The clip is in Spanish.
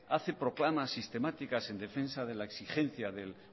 hace proclamas sistemáticas en defensa de la exigencia del